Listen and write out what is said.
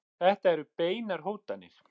Þetta eru beinar hótanir.